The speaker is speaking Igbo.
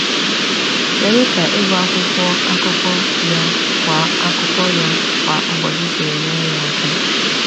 Kedu ka ịgụ akwụkwọ akụkọ ya kwa akụkọ ya kwa ụbọchị siri nyere ya aka?